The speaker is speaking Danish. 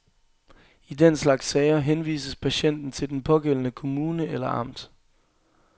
I den slags sager henvises patienten til den pågældende kommune eller amt.